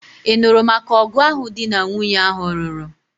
Ị nụrụ maka ọgụ ahụ di na nwunye ahụ lụrụ?